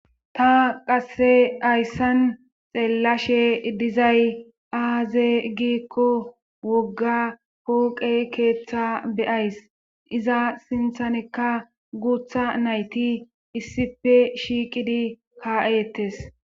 ta qasse hayssan xeellashe dizay aaze gikko wogga pooqe keeththa beyays iza sinthanekka guutha nayti issipe shiiqidi ka7ettes